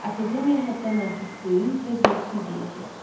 Akademiya həddən artıq böyük və zövqsüz yerdir.